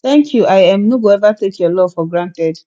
thank you i um no go eva take your love for granted